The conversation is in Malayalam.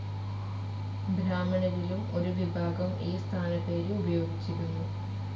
ബ്രാഹ്മണരിലും ഒരുവിഭാഗം ഈ സ്ഥാനപ്പേര് ഉപയോഗിച്ചിരുന്നു.